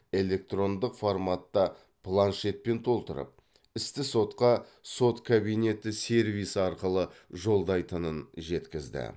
электрондық форматта планшетпен толтырып істі сотқа сот кабинеті сервисі арқылы жолдайтынын жеткізді